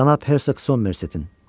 Cənab Hersoq Somersettin.